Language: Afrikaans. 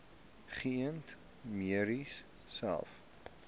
geënte merries selfs